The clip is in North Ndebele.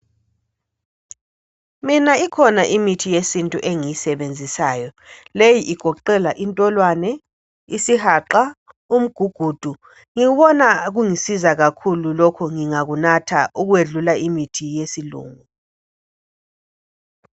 Mina ikhona imithi yesintu engiyisebenzisayo. Leyi igoqela intolwane , isihaqa, umgugudu. Ngibona kungisiza kakhulu lokho ngingakunatha ukwedlula imithi yesilungu.